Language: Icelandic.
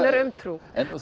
um trú